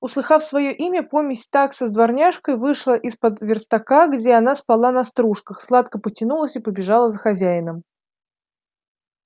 услыхав своё имя помесь такса с дворняжкой вышла из-под верстака где она спала на стружках сладко потянулась и побежала за хозяином